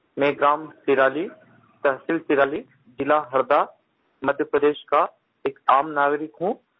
मैं ग्राम तिराली तहसील तिराली ज़िला हरदा मध्य प्रदेश का एक आम नागरिक हूँ